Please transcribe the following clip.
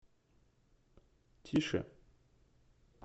тише